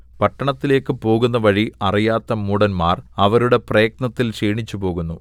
പട്ടണത്തിലേക്ക് പോകുന്നവഴി അറിയാത്ത മൂഢന്മാർ അവരുടെ പ്രയത്നത്തിൽ ക്ഷീണിച്ചുപോകുന്നു